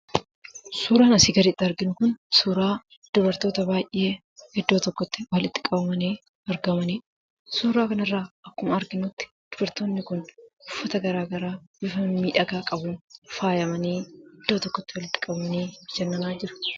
Suuraan asiin gaditti arginu Kun, suuraa dubartoota baayyee , iddoo tokkotti walitti qabamanii argamanidha. Suuraa kana irraa akkuma arginutti dubartoonni Kun uffata garaagaraa bifa miidhagaa qabuun faayamanii, iddoo tokkotti walitti qabamanii, bashannanaa jiru.